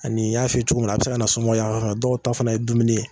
An'i y'a fɔ cogo min na , a bɛ se ka na somɔgɔ yanfan fɛ, dɔw ta fana ye dumuni ye.